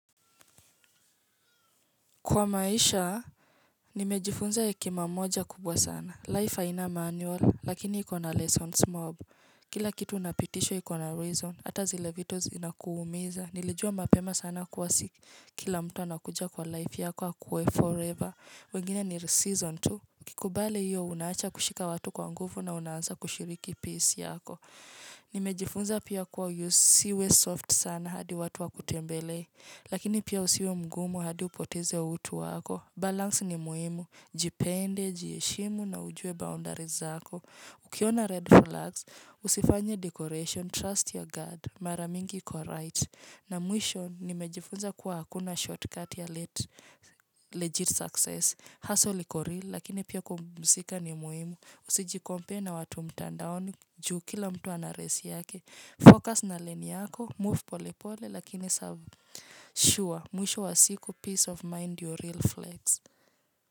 Kwa maisha, nimejifunza hekima moja kubwa sana. Life haina manual, lakini ikona lessons mob. Kila kitu unapitishwa ikona reason. Hata zile vitu zinakuumiza. Nilijua mapema sana kuwa si kila mtu anakuja kwa life yako akue forever. Wengine ni season two. Ukikubali hiyo unaacha kushika watu kwa nguvu na unaanza kushiriki peace yako. Nimejifunza pia kuwa usiwe soft sana hadi watu wakutembelee. Lakini pia usiwe mgumu hadi upoteze utu wako Balance ni muimu Jipende, jieshimu na ujue boundaries zako Ukiona red flags Usifanya decoration, trust your guard Maramingi iko right na mwisho nimejifunza kuwa hakuna shortcut ya legit success Hustle liko real Lakini pia kupumzika ni muhimu Usijicompare na watu mtandaoni Ju kila mtu ana race yake Focus na lane yako Move pole pole lakini serve Shua, mwisho wa siku, peace of mind, ndio real flex.